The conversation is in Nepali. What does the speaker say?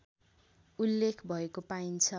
उल्लेख भएको पाइन्छ